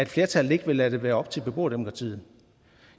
flertallet ikke lade det være op til beboerdemokratiet